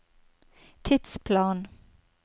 tidsplan